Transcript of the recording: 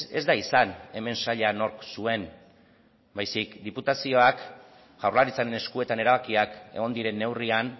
ez da izan hemen saila nork zuen baizik eta diputazioak jaurlaritzaren eskuetan erabakiak egon diren neurrian